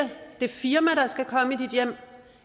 det firma der skal komme i dit hjem